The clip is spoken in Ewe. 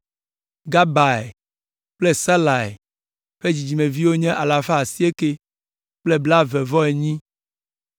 Gabai kple Salai ƒe dzidzimevi nye alafa asieke kple blaeve-vɔ-enyi (928).